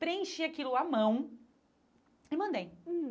Preenchi aquilo à mão e mandei. Hum